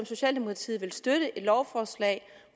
socialdemokratiet vil støtte et lovforslag